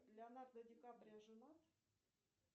леонардо ди каприо женат